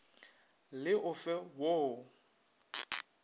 le o fe wo o